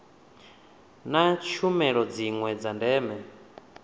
na tshumelo dziwe dza ndeme